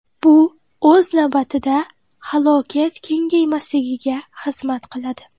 Bu, o‘z navbatida, halokat kengaymasligiga xizmat qiladi.